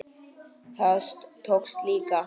Það tókst líka.